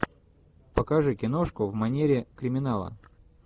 покажи киношку в манере криминала